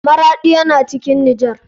Maraɗi yana cikin nijar.